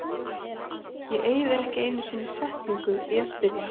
Ég eyði ekki einu sinni setningu í að spyrja